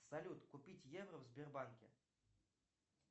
салют купить евро в сбербанке